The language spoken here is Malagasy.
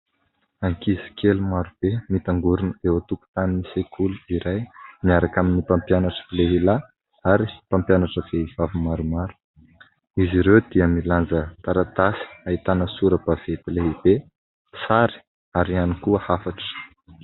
Ankizikely maro be mitangorina eo an-tokotanin'ny sekoly iray, miaraka amin'ny mpampianatra lehilahy ary mpampianatra vehivavy maromaro. Izy ireo dia milanja taratasy ahitana sora-baventy lehibe, sary ary ihany koa hafatra.